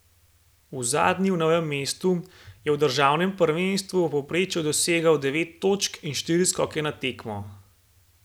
V zadnji v Novem mestu je v državnem prvenstvu v povprečju dosegal devet točk in štiri skoke na tekmo.